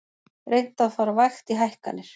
Reynt að fara vægt í hækkanir